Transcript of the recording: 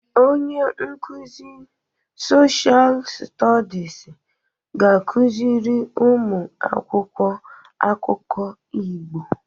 Onye nkuzi soshal stodis ga-akụziri ụmụ akwụkwọ akụkọ Igbo.